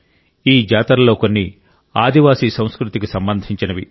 ఈ జాతరలలో కొన్ని ఆదివాసీ సంస్కృతికి సంబంధించినవి